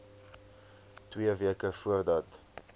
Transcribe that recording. twee weke voordat